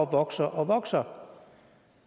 vokser og vokser